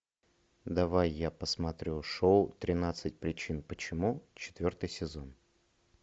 давай я посмотрю шоу тринадцать причин почему четвертый сезон